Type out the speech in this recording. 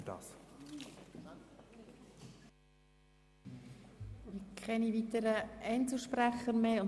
Es scheint keine weiteren Einzelsprecher mehr zu geben.